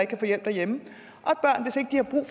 kan få hjælp derhjemme